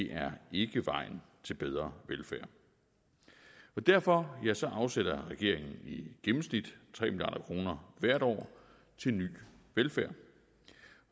er ikke vejen til bedre velfærd derfor afsætter regeringen i gennemsnit tre milliard kroner hvert år til ny velfærd